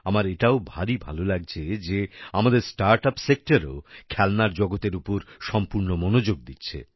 আমার এটাও ভারী ভালো লাগছে যে আমাদের স্টার্টআপ সেক্টরও খেলনার জগতের উপর সম্পূর্ণ মনোযোগ দিচ্ছে